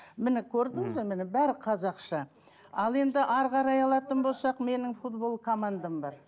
міне көрдіңіз бе міне бәрі қазақша ал енді әрі қарай алатын болсақ менің футбол командам бар